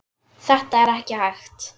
Þetta er ekki hægt.